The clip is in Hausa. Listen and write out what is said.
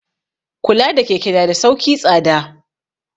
Kula da keke na da sauki tsada.